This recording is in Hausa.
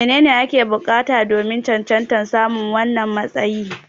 Menene ake bukata domin cancantar samun wannan matsayi?